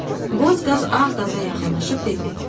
Boz qaz ağ qaza yaxınlaşıb dedi.